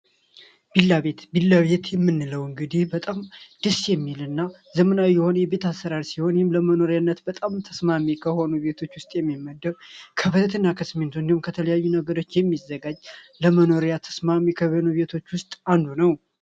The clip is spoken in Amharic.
ቪላ ቤት የምንለው እንግዲህ ደሴ የሚልና ዘመናዊ የቤት አሰራር የሆነ ለመኖሪያነት በጣም ተስማሚ ከሆኑ ቤቶች ውስጥ የሚመደብ ክብረትና ከሲሚንቶ እንዲሁም ከተለያዩ ነገሮች የሚሠራ ለመኖርያ ተስማሚ ከሆኑ ቤቶች ውስጥ አንዱ ነው።